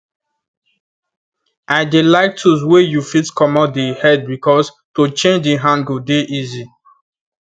i dey like tools wey you fit comot the headbecause to change the hand go dey easy